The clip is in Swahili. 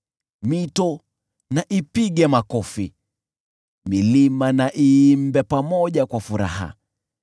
Mito na ipige makofi, milima na iimbe pamoja kwa furaha,